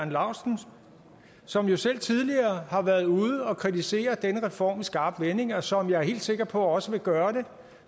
laustsen som jo selv tidligere har været ude og kritisere denne reform i skarpe vendinger og som jeg er helt sikker på også vil gøre det